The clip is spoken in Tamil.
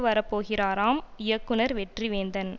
வரப்போகிறாராம் இயக்குனர் வெற்றிவேந்தன்